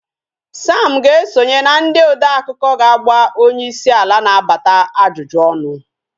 Sam ga-esonye na ndị odeakụkọ ga-agba onyeisi ala na-abata ajụjụ ọnụ